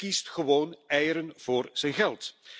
Hij kiest gewoon eieren voor zijn geld.